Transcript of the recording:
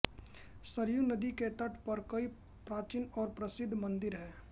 सरयू नदी के तट पर कई प्राचीन और प्रसिद्ध मन्दिर हैं